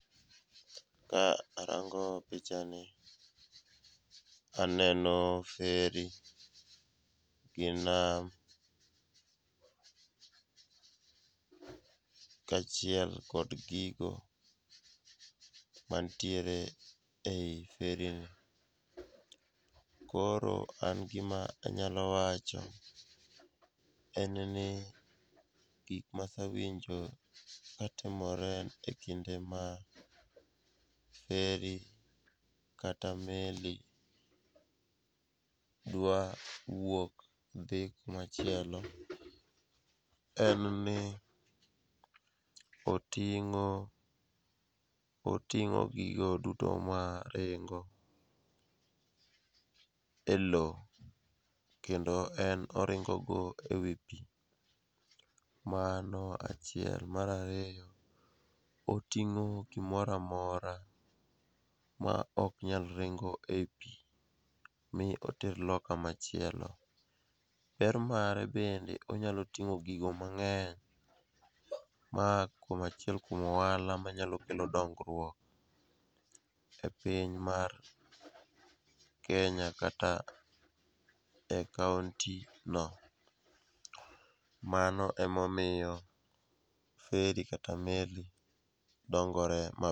Ka arango pichani, aneno feri gi nam, kaachiel kod gigo mantiere e i ferino. Koro an gima anyalo wacho en ni gik masewinjo katimore e kinde ma feri kata meli dwa wuok dhi kumachielo en ni oting'o gigo duto maringo e lowo, kendo en oringogo e wi pi. Mano achiel, mar ariyo, oting'o gimora mora ma ok nyal ringo e i pi mi oter loka machielo, ber mare bende onyalo ting'o gigo mang'eny ma achielk kuom ohala manyalo kelo dongruok epiny mar Kenya kata e kaontino, mano emomiyo feri kata meli dongore ma.